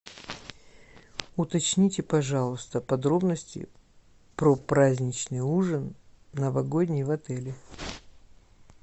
уточните пожалуйста подробности про праздничный ужин новогодний в отеле